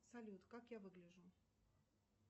салют как я выгляжу